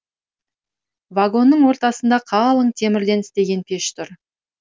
вагонның ортасында қалың темірден істеген пеш тұр